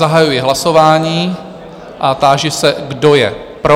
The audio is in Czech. Zahajuji hlasování a táži se, kdo je pro?